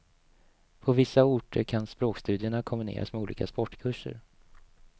På vissa orter kan språkstudierna kombineras med olika sportkurser.